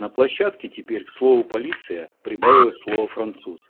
на площадке теперь к слову полиция прибавилось слово француз